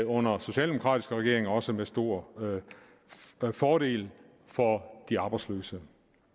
under socialdemokratiske regeringer også med stor fordel for de arbejdsløse